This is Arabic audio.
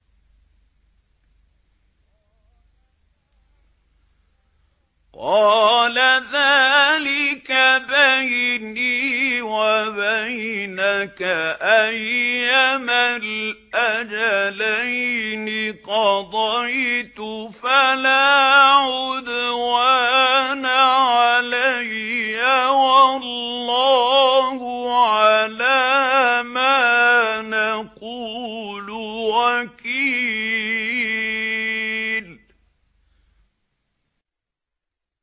قَالَ ذَٰلِكَ بَيْنِي وَبَيْنَكَ ۖ أَيَّمَا الْأَجَلَيْنِ قَضَيْتُ فَلَا عُدْوَانَ عَلَيَّ ۖ وَاللَّهُ عَلَىٰ مَا نَقُولُ وَكِيلٌ